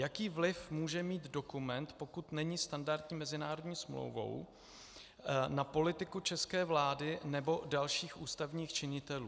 Jaký vliv může mít dokument, pokud není standardní mezinárodní smlouvou na politiku české vlády nebo dalších ústavních činitelů?